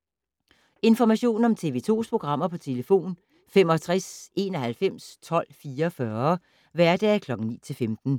Information om TV 2's programmer: 65 91 12 44, hverdage 9-15.